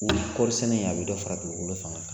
Kɔɔrisɛnɛ in a bɛ dɔ fara dugukolo fanga kan